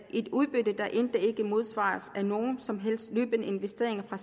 er et udbytte der end ikke modsvaret af nogen som helst løbende investeringer